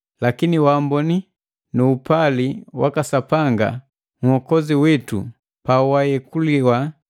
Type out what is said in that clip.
Lakini waamboni nu upali waka Sapanga Nhokozi witu pawayekuliwa,